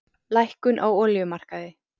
Lækkun á olíumarkaði